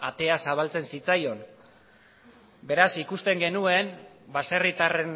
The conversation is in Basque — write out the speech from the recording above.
atea zabaltzen zitzaion beraz ikusten genuen baserritarren